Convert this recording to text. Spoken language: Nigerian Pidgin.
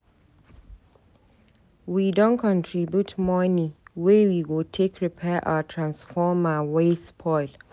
We don contribute moni wey we go take repair our transformer wey spoil.